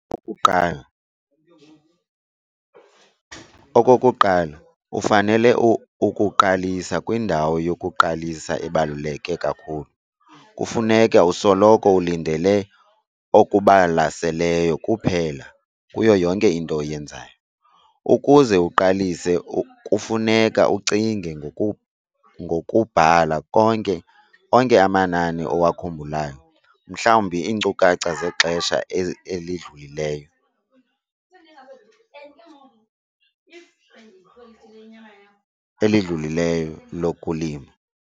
Okokuqala, okokuqala, ufanele ukuqalisa kwindawo yokuqalisa ebaluleke kakhulu. Kufuneke usoloko ulindele okubalaseleyo kuphela kuyo yonke into oyenzayo. Ukuze uqalise kufuneka ucinge ngokubhala onke amanani owakhumbulayo, mhlawumbi iinkcukacha zexesha elidlulileyo lokulima.